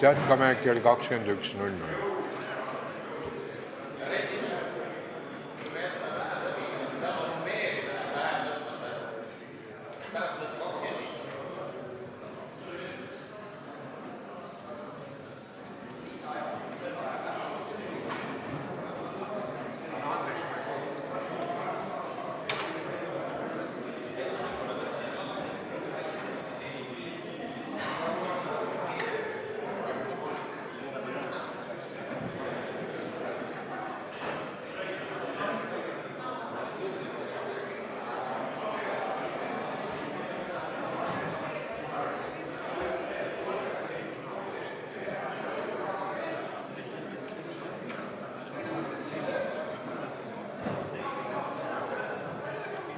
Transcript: Jätkame kell 21.00.